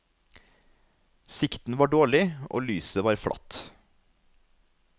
Sikten var dårlig, og lyset var flatt.